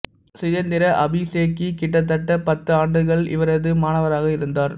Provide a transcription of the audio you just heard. சிதேந்திர அபிசேகி கிட்டத்தட்ட பத்து ஆண்டுகள் இவரது மாணவராக இருந்தார்